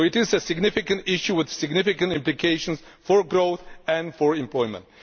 So it is a significant issue with significant implications for growth and for employment.